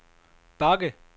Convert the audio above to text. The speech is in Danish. bakke